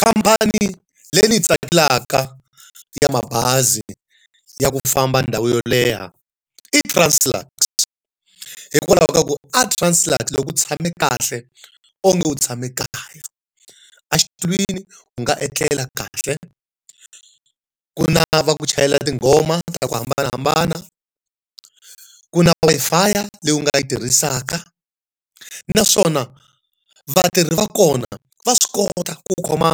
Khamphani leyi ndzi yi tsakelaka ya mabazi ya ku famba ndhawu yo leha i Translux. Hikwalaho ka ku aTranslux loko u tshame kahle onge u tshame kaya a xitulwini u nga etlela kahle, ku ri na va ku chayela tinghoma ta ku hambanahambana, ku na Wi-Fi leyi nga yi tirhisaka, naswona vatirhi va kona va swi kota ku khoma